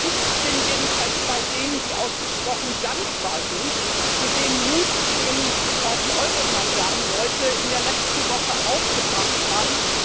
Ich bin jedenfalls bei denen, die ausgesprochen dankbar sind für den Mut, den die Euro Maidan Leute in der letzten Woche aufgebracht haben.